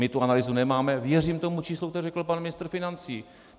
My tu analýzu nemáme, věřím tomu číslu, které řekl pan ministr financí.